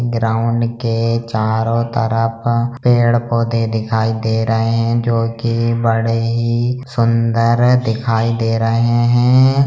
Ground के चारो तरफ पेड़-पौधे दिखाई दे रहे हैं जो की बड़े ही सुन्दर दिखाई दे रहे हैं।